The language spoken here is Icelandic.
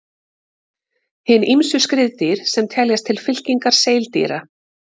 Hin ýmsu skriðdýr sem teljast til fylkingar seildýra.